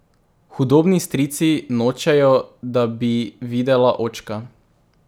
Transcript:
Hudobni strici nočejo, da bi videla očka.